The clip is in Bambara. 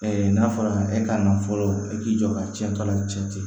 n'a fɔra e ka na fɔlɔ e k'i jɔ ka cɛn tɔ la cɛ